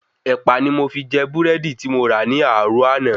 Ẹ̀pà ni mo fi jẹ Búrẹ́dì ti mo rà ní àárò àná